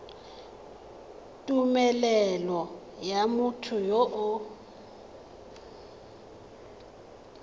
tumelelo ya motho yo o